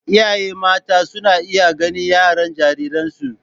Iyaye mata suna iya gane yaren jariransu